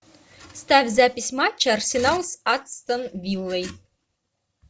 ставь запись матча арсенал с астон виллой